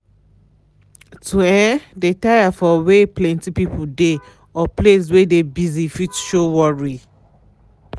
to um de tired for wey plenty people de or place wey de busy fit show worry.